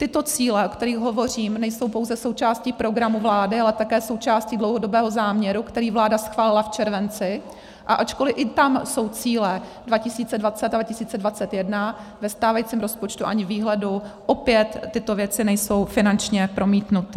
Tyto cíle, o kterých hovořím, nejsou pouze součástí programu vlády, ale také součástí dlouhodobého záměru, který vláda schválila v červenci, a ačkoliv i tam jsou cíle 2020 a 2021, ve stávajícím rozpočtu ani výhledu opět tyto věci nejsou finančně promítnuty.